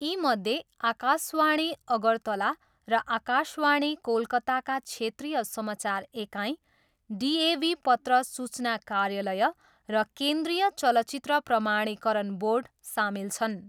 यीमध्ये आकाशवाणी अगरतला र आकाशवाणी कोलकाताका क्षेत्रीय समाचार एकाइ, डिएभी पत्र सूचना कार्यालय र केन्द्रीय चलचित्र प्रमाणीकरण बोर्ड सामेल छन्।